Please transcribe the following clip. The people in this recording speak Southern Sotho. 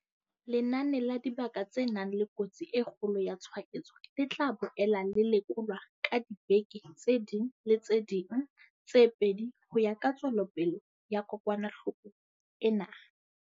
Lenane la dibaka tse nang le kotsi e kgolo ya tshwaetso, le tla boela le lekolwa ka diveke tse ding le tse ding tse pedi ho ya ka tswelopele ya kokwanahloko ena.